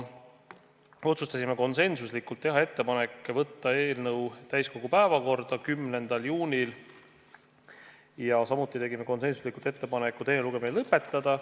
Otsustasime konsensuslikult teha ettepaneku võtta eelnõu täiskogu päevakorda 10. juuniks, samuti tegime konsensuslikult ettepaneku teine lugemine lõpetada.